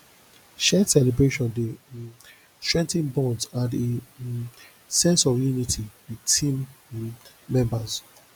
shared celebration dey um strengthen bonds and a um sense of unity with team um members